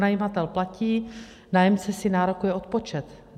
Pronajímatel platí, nájemce si nárokuje odpočet.